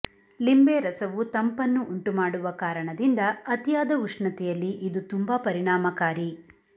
ಲಿಂಬೆರಸವು ತಂಪನ್ನು ಉಂಟು ಮಾಡುವ ಕಾರಣದಿಂದ ಅತಿಯಾದ ಉಷ್ಣತೆಯಲ್ಲಿ ಇದು ತುಂಬಾ ಪರಿಣಾಮಕಾರಿ